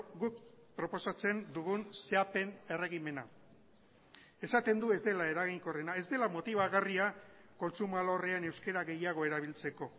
guk proposatzen dugun zehapen erregimena esaten du ez dela eraginkorrena ez dela motibagarria kontsumo alorrean euskara gehiago erabiltzeko